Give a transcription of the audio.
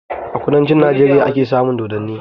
A kudancin Najeriya ake samun dodanni